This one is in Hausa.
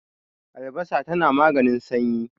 albasa tana maganin sanyi